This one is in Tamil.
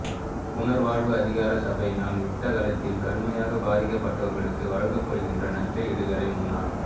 புனர்வாழ்வு அதிகார சபையினால் யுத்த காலகட்டத்தில் கடுமையாகப் பாதிக்கப்பட்டவர்களுக்கு வழங்கப்படுகின்ற நஷ்ட ஈடுகளை முன்னாள்